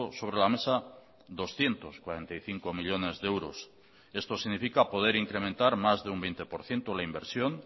sobre la mesa doscientos cuarenta y cinco millónes de euros esto significa poder incrementar más de un veinte por ciento la inversión